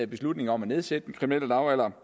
beslutningen om at nedsætte den kriminelle lavalder